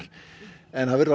en það verður